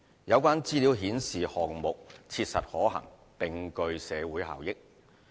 有關資料顯示項目切實可行，並具社會效益。